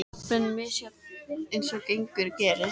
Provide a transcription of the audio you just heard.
Aflinn var misjafn eins og gengur og gerist.